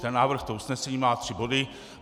Ten návrh, to usnesení má tři body.